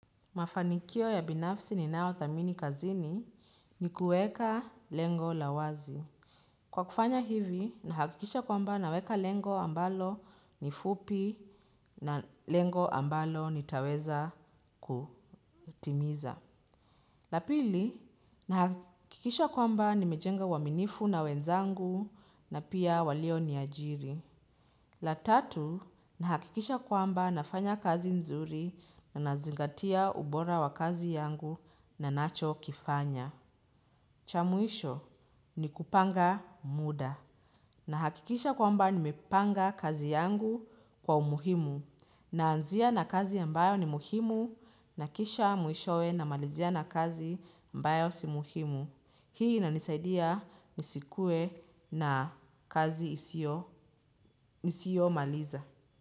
Mafanikio ya binafsi ni nao thamini kazini ni kueka lengo la wazi. Kwa kufanya hivi, nahakikisha kwamba naweka lengo ambalo ni fupi na lengo ambalo nitaweza kutimiza. La pili, nahakikisha kwamba nimejenga uaminifu na wenzangu na pia walio niajiri. La tatu, nahakikisha kwamba nafanya kazi nzuri na nazingatia ubora wa kazi yangu na nacho kifanya. Cha mwisho, ni kupanga muda. Nahakikisha kwamba nimepanga kazi yangu kwa umuhimu. Naanzia na kazi ambayo ni muhimu na kisha mwishowe namalizia na kazi ambayo si muhimu. Hii inanisaidia nisikuwe na kazi isio nisio maliza.